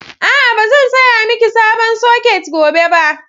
A'a, ba zan saya miki sabon soket gobe ba.